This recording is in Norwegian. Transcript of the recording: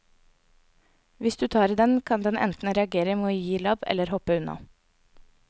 Hvis du tar i den, kan den enten reagere med å gi labb eller hoppe unna.